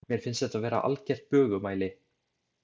Mér finnst þetta vera algert bögumæli.